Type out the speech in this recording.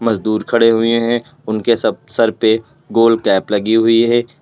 दूर खड़े हुए हैं उनके सब सर पे गोल कैप लगी हुई है।